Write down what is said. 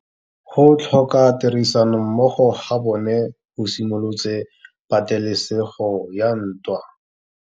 Go tlhoka tirsanommogo ga bone go simolotse patêlêsêgô ya ntwa.